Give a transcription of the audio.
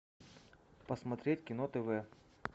посмотреть кино тв